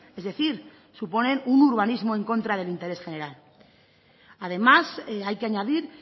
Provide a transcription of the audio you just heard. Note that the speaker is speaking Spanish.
es decir suponen un urbanismo en contra del interés general además hay que añadir